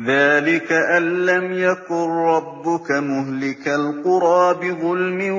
ذَٰلِكَ أَن لَّمْ يَكُن رَّبُّكَ مُهْلِكَ الْقُرَىٰ بِظُلْمٍ